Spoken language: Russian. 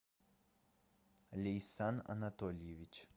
лейсан анатольевич